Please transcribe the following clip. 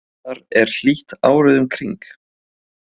Þar er hlýtt árið um kring.